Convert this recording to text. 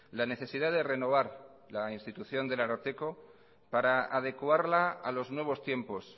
la necesidad de renovar la institución del ararteko para adecuarla a los nuevos tiempos